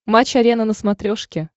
матч арена на смотрешке